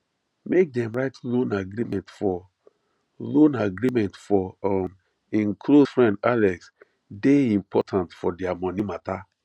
make dem write loan agreement for loan agreement for um hin close friend alex dey important for their money matter